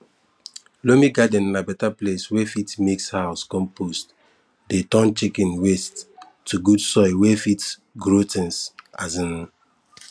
loamy garden na beta place wey fit mix for house compost dey turn kitchen waste to good soil wey fit grow things um